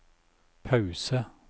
pause